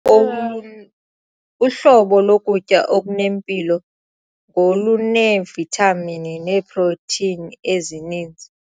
OLu Uhlobo lokutya okunempilo ngoluneevithamini neeprotheyini ezininzi.